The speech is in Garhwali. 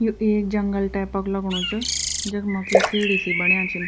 यु एक जंगल टाइपा क लगणु च जखमा की सीढ़ी सी बण्या छीन।